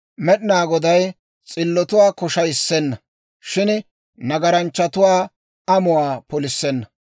Med'inaa Goday s'illotuwaa koshshayissenna; shin nagaranchchatuwaa amuwaa polissenna.